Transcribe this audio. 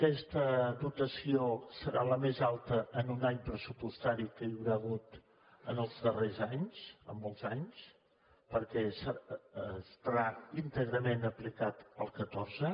aquesta dotació serà la més alta en un any pressupostari que hi haurà hagut els darrers anys en molts anys perquè estarà íntegrament aplicat al catorze